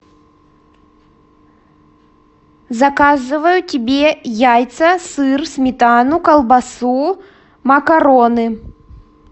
заказываю тебе яйца сыр сметану колбасу макароны